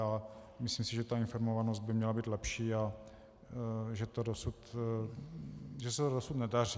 A myslím si, že ta informovanost by měla být lepší a že se to dosud nedaří.